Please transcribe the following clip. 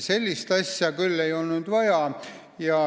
Sellist asja küll vaja ei olnud.